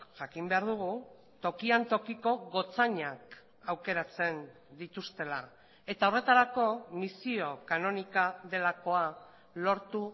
jakin behar dugu tokian tokiko gotzainak aukeratzen dituztela eta horretarako misio kanonika delakoa lortu